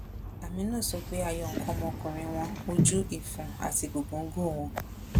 àmínú sọ pé a yọ nǹkan ọmọkùnrin wọn ojú ìfun àti gògòńgò wọn